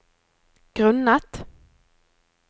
grunnet